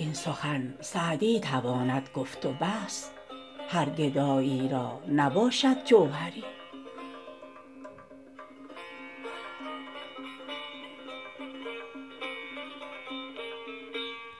این سخن سعدی تواند گفت و بس هر گدایی را نباشد جوهری